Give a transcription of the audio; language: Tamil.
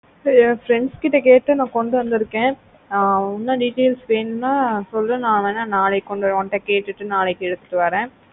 என் friends கிட்ட கேட்டு நா கொண்டு வந்துருக்கா ஆஹ் இன்னோ details வேணும்னா சொல்லு நா வென நாளைக்கு கொண்டு வர உன்கிட்ட கேட்டுட்டு நாளைக்கு எடுத்துட்டு வர